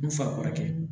N'u fa kɔrɔkɛ